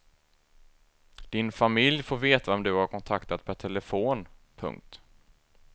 Din familj får veta vem du har kontaktat per telefon. punkt